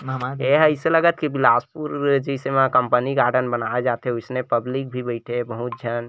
ए हा ऐसे लगत की बिलासपुर जैसे कंपनी गार्डन बनाय जाथे इसने पब्लिक भी बैठे है बहुत झन।